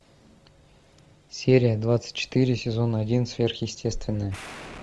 серия двадцать четыре сезон один сверхъестественное